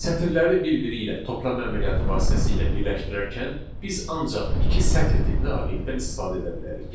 Sətirləri bir-biri ilə toplama əməliyyatı vasitəsilə birləşdirərkən biz ancaq iki sətr tipli obyektdən istifadə edə bilərik.